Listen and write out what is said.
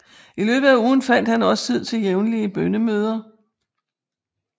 I løbet af ugen fandt han også tid til jævnlige bønnemøder